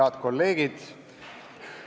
Head kolleegid!